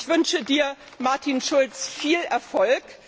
Ich wünsche Dir, Martin Schulz, viel Erfolg!